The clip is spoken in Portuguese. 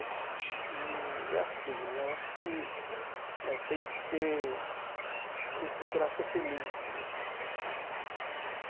E é assim, eh eu acho que eh tem que ser... a gente tem que procurar ser feliz mesmo tá.